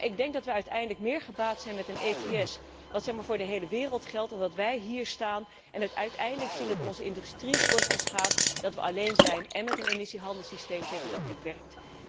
Maar ik denk dat wij uiteindelijk meer gebaat zijn met een ETS die zeg maar voor de hele wereld geldt, dan dat wij hier staan en uiteindelijk zien dat onze industrie wordt geschaad, dat wij alleen zijn en met een emissiehandelssysteem zitten dat niet werkt.